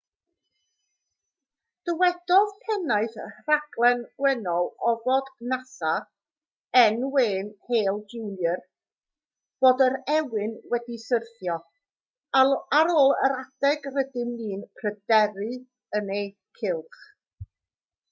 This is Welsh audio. dywedodd pennaeth rhaglen gwennol ofod nasa ,n. wayne hale jr. fod yr ewyn wedi syrthio ar ôl yr adeg rydym ni'n pryderu yn ei gylch